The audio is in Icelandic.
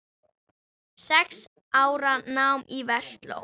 Sex ára nám í Versló.